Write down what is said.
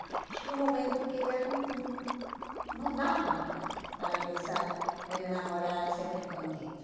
Chegou um momento que já não não não dava mais para pensar em enamorar sempre escondido.